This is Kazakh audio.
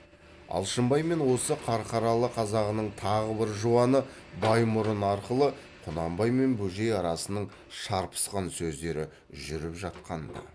алшынбай мен осы қарқаралы қазағының тағы бір жуаны баймұрын арқылы құнанбай мен бөжей арасының шарпысқан сөздері жүріп жатқан ды